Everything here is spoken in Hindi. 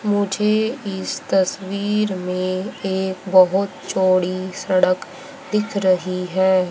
मुझे इस तस्वीर में एक बहोत चौड़ी सड़क दिख रही है।